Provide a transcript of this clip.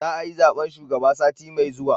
Za a yi zaben shugaba sati mai zuwa